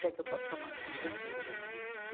Se é que eu posso chamar assim de antiga.